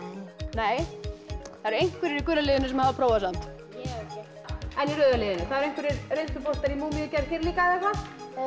nei það eru einhverjir í gula liðinu sem hafa prófað samt en í rauða liðinu það eru einhverjir reynsluboltar í múmíugerð hér líka eða hvað